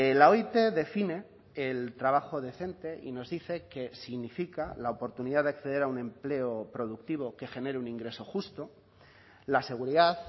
la oit define el trabajo decente y nos dice que significa la oportunidad de acceder a un empleo productivo que genere un ingreso justo la seguridad